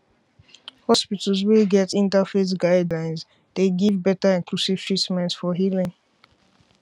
hospitals wey get interfaith guidelines dey give better inclusive treatment for healing